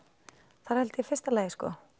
það er í fyrsta lagi